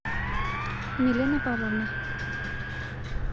милена павловна